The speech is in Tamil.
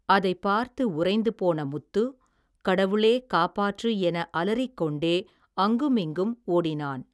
அதைப் பார்த்து உறைந்து போன முத்து, கடவுளே காப்பாற்று, என அலறிக்கொண்டே, அங்குமிங்கும் ஓடினான்.